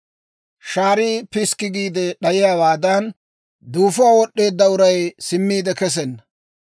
«Shaarii piskki giide d'ayiyaawaadan, duufuwaa wod'd'eedda uray simmiide kesenna.